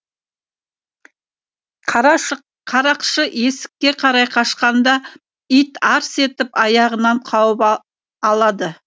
қарақшы есікке қарай қашқанда ит арс етіп аяғынан қауып алады